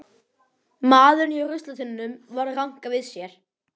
Maðurinn hjá ruslatunnunum var að ranka við sér.